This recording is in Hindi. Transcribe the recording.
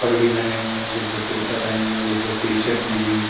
पगड़ी पहने हुए हैं। कुछ लोग कुर्ता पहने हुए हैं। कुछ लोग टी-शर्ट में हैं।